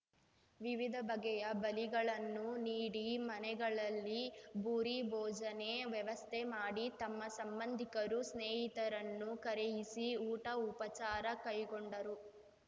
ವಿವಿಧ ಬಗೆಯ ಬಲಿಗಳನ್ನು ನೀಡಿ ಮನೆಗಳಲ್ಲಿ ಭೂರಿ ಭೋಜನೆ ವ್ಯವಸ್ಥೆ ಮಾಡಿ ತಮ್ಮ ಸಂಬಂಧಿಕರು ಸ್ನೇಹಿತರನ್ನು ಕರೆಯಿಸಿ ಊಟ ಉಪಚಾರ ಕೈಕೊಂಡರು